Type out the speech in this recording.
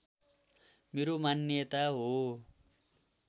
मेरो मान्यता हो